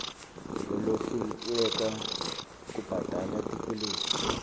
lolohluleka kubhadala tikweleti